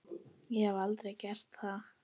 Ég hef aldrei gert það.